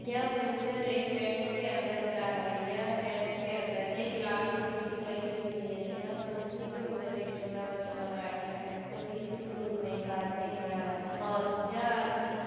यह पिच्चर एक टेंट के अन्दर का है यह टेंट के अंदर एक लाल कुर्सी लगी हुई है यह कुर्सी के ऊपर एक छोटा बच्चा बैठ कर है थोड़ी सी दूर में एक आदमी खड़ा है और यह आदमी--